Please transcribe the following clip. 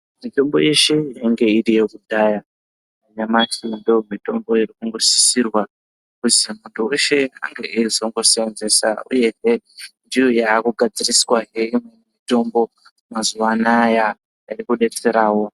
Mitombo yeshe inenge iriyo kudhaya nyamasi ndomitombo iri kungosisirwa kuzi muntu veshe ange eizongosenzesa, uyehe ndoyakugadziriswahe mutombo mazuva anaya iri kubetseravo.